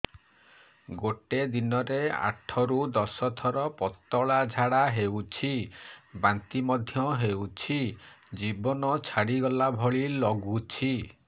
ଗୋଟେ ଦିନରେ ଆଠ ରୁ ଦଶ ଥର ପତଳା ଝାଡା ହେଉଛି ବାନ୍ତି ମଧ୍ୟ ହେଉଛି ଜୀବନ ଛାଡିଗଲା ଭଳି ଲଗୁଛି